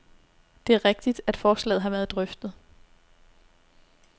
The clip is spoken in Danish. Det er rigtigt, at forslaget har været drøftet.